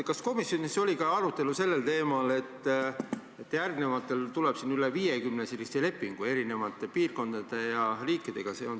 Kas komisjonis oli ka arutelu sellel teemal, et järgnevatel aastatel tuleb siia üle 50 lepingu eri piirkondade ja riikidega?